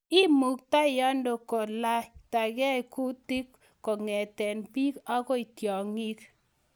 Imutyaanoo koletagei kutik kong'etee biik agoi tyang'ii.